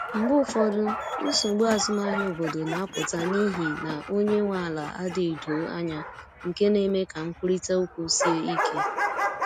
Mgbe ụfọdụ, nsogbu azụmahịa obodo na-apụta n’ihi na onye nwe ala adịghị doo anya, nke na-eme ka nkwurịta okwu sie ike.